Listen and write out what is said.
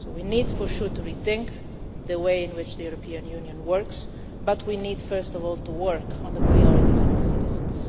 We need for sure to rethink the way in which the European Union works, but we need first of all to work on the priorities of our citizens.